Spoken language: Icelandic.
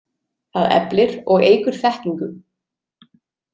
Það eflir og eykur þekkingu.